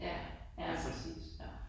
Ja. Ja, ja.